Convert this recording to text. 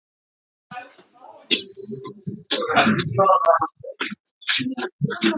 Því trúi ég ekki- missti Aðalsteinn út úr sér.